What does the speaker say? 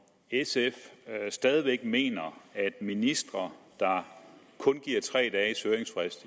sf stadig væk mener at ministre der kun giver tre dage